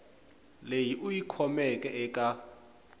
leyi u yi kumeke eka